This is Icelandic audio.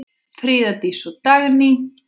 Fríða Dís og Dagný.